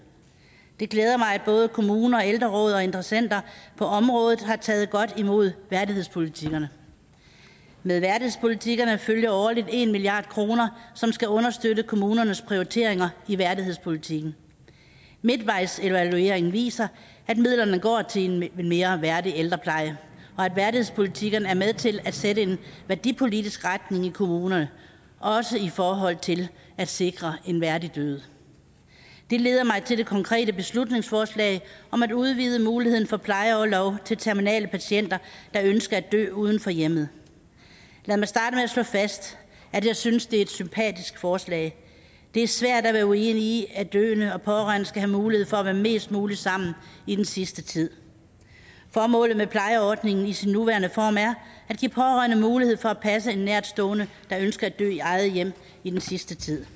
det glæder mig at både kommuner og ældreråd og interessenter på området har taget godt imod værdighedspolitikkerne med værdighedspolitikkerne følger årligt en milliard kr som skal understøtte kommunernes prioriteringer i værdighedspolitikken midtvejsevalueringen viser at midlerne går til en mere værdig ældrepleje og at værdighedspolitikkerne er med til at sætte en værdipolitisk retning i kommunerne også i forhold til at sikre en værdig død det leder mig til det konkrete beslutningsforslag om at udvide muligheden for plejeorlov til terminale patienter der ønsker at dø uden for hjemmet lad mig starte slå fast at jeg synes det er et sympatisk forslag det er svært at være uenig i at døende og pårørende skal have mulighed for at være mest muligt sammen i den sidste tid formålet med plejeordningen i sin nuværende form er at give pårørende mulighed for at passe en nærtstående der ønsker at dø i eget hjem i den sidste tid